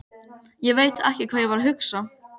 Ég veit ekki hvað ég var að hugsa.